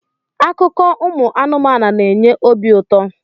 Akụkọ ụmụ anụmanụ na enye obi ụtọ